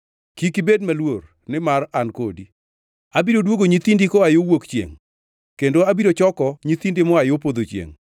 Kik ibed maluor, nimar an kodi; abiro duogo nyithindi koa yo wuok chiengʼ, kendo abiro choko nyithindi moa yo podho chiengʼ.